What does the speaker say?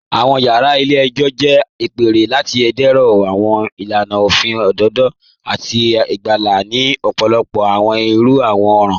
Awọn yara ilẹ̀-ẹ̀jọ jẹ̀ apẹ̀rẹ̀ lati dẹ̀rọ̀ awọn ilànà ofin odòdò àti gbàńgbà ni ọ̀pọ̀lọ̀pọ̀ awọn irú awọn ọran